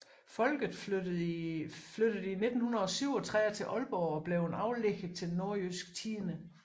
Folket flyttede i 1937 til Ålborg og blev en aflægger til Nordjysk Tidende